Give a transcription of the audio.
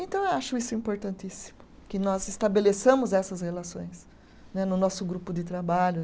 Então, eu acho isso importantíssimo, que nós estabeleçamos essas relações né, no nosso grupo de trabalho.